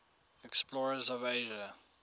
explorers of asia